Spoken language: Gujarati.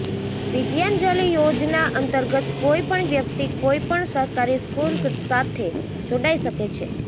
વિદ્યાંજલિ યોજના અંતર્ગત કોઇ પણ વ્યક્તિ કોઇ પણ સરકારી સ્કૂલ સાથે જોડાઇ શકે છે